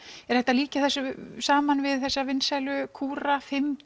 er hægt að líkja þessu saman við þessa vinsælu kúra fimm